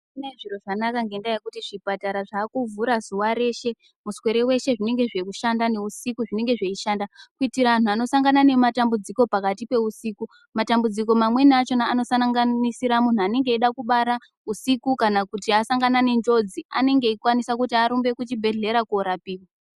Mazuva ano zviro zvanakana ngekuti zvipatara zvakuvhura zuwa reshe muswere weshe zvinenge zveishanda kuitira antu anosangana nematambudziko pakati pehusiku matambudziko amweni achona anosanganisira muntu anenge achida kubara husiku kana asangane nenjodzi anenge achienda kuzvibhedhlera kuti aone kurapiwa.